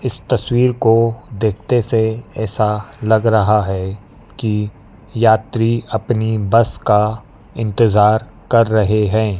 इस तस्वीर को देखते से ऐसा लग रहा है कि यात्री अपनी बस का इंतजार कर रहे हैं।